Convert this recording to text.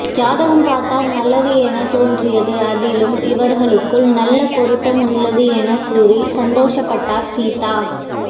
ஜாதகம் பார்த்தால் நல்லது என தோன்றியது அதிலும் இவர்களுக்குள் நல்ல பொருத்தம் உள்ளது என கூறி சந்தோஷப்பட்டர் சீதா